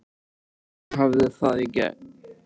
Og hún hafði það í gegn.